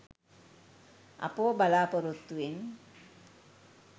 අපව බලාපොරොත්තුවෙන්